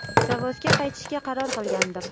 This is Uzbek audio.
Zavodga qaytishga qaror qilgandim.